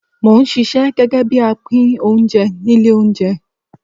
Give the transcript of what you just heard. Mò ń ṣisẹ́ gẹ́gẹ́ bí apín oúnjẹ ní ilé oúnjẹ.